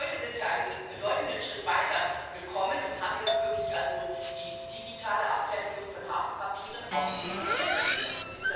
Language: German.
Heute sind wir einen bedeutenden Schritt weitergekommen und haben jetzt wirklich die digitale Abfertigung von Hafenpapieren auf dem Papier zumindest.